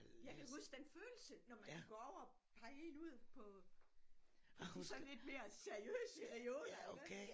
Jeg kan huske den følelse når man kunne gå over pege ind ud på det sådan lidt mere seriøst her i udvalg iggås